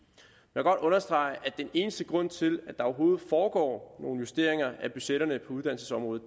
vil godt understrege at den eneste grund til at der overhovedet foregår nogle justeringer af budgetterne på uddannelsesområdet